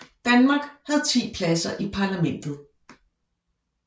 Danmark havde 10 pladser i parlamentet